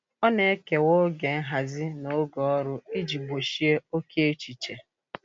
Ọ na-ekewa oge nhazi na oge ọrụ iji gbochie oke echiche.